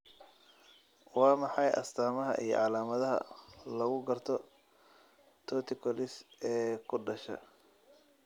Waa maxay astaamaha iyo calaamadaha lagu garto torticollis ee ku dhasha?